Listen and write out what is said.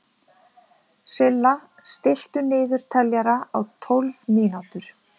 Silla, stilltu niðurteljara á tólf mínútur.